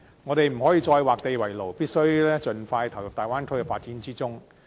香港不可以再劃地為牢，必須盡快投入大灣區的發展之中。